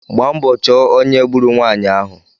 Gbaa mbọ chọọ ónyé gburu nwanyị ahụ